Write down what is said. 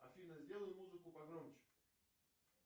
афина сделай музыку погромче